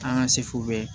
An ka sefu bɛɛ